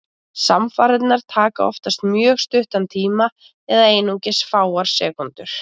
Samfarirnar taka oftast mjög stuttan tíma, eða einungis fáeinar sekúndur.